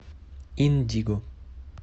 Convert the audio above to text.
индиго